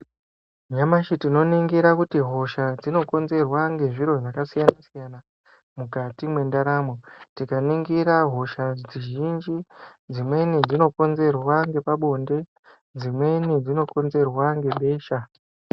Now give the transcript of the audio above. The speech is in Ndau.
Nyamashi tinoningira kuti hosha dzinokonzerwa ngezviro zvakasiyana-siyana mukati mwendaramo, tikaningira hosha dzizhinji dzimweni dzinokonzerwa ngepabonde, dzimweni dzinokonzerwa ngebesha.